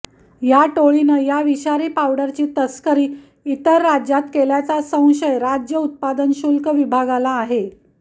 या टोळीनं या विषारी पावडरची तस्करी इतर राज्यात केल्याचा संशय राज्य उत्पादन शुल्क विभागाला आहे